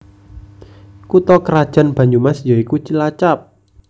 Kutha krajan Banyumas ya iku Cilacap